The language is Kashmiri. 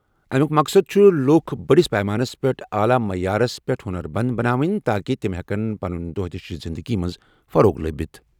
اَمیُوک مقصد چھُ لوٗکَن بٔڑِس پیمانَس پٮ۪ٹھ اعلیٰ معیارَس سۭتۍ ہُنر مند بناوُن تاکہِ تِم ہٮ۪کَن پنٕنۍ دۄہ دِش گولفَس فروغ دِتھ۔